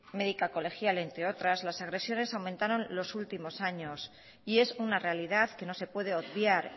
médica colegial entre otras las agresiones aumentaron los últimos años y es una realidad que no se puede obviar